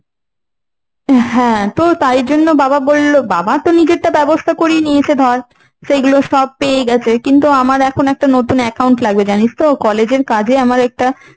হ্যাঁ তো তাই জন্য। বাবা বলল বাবা তো নিজেরটা ব্যবস্থা করে নিয়েছে ধর, সেগুলো সব পেয়ে গেছে। কিন্তু আমার এখন একটা নতুন account লাগবে। জানিস তো college এর কাজে আমার একটা